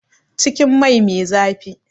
Cikin mai me zafi